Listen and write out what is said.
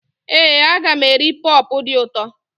Éè, aga m eri pọpọ dị ụtọ